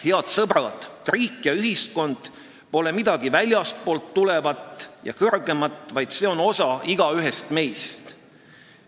Head sõbrad, riik ja ühiskond pole midagi väljastpoolt tulevat ja kõrgemat, vaid see on osa igaühest meist.